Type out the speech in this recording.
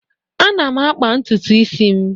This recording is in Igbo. Ana m akpa ntutu isi m.